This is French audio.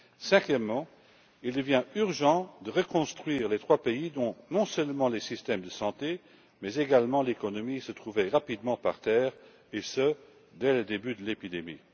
Cinquièmement, il devient urgent de reconstruire les trois pays, dont non seulement les systèmes de santé mais également l'économie se sont rapidement écroulés, et ce dès le début de l'épidémie.